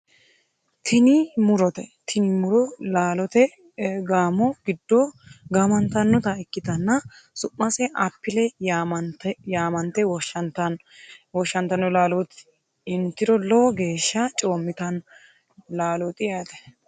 Tini mu'rote tini mu'ro laalote gaamo giddo gaamantannota ikkitana su'mase appile yaamante woshshantanno laalooti intiro lowo geeshsha coommitanno laalooti yaate.